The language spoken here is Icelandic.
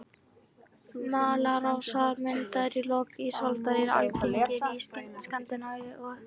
Malarásar, myndaðir í lok ísaldar, eru algengir í Skandinavíu og